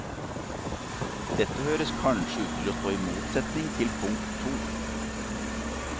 Dette høres kanskje ut til å stå i motsetning til punkt to.